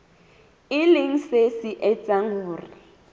e leng se etsang hore